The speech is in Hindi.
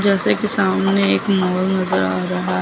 जैसे कि सामने एक मॉल नजर आ रहा--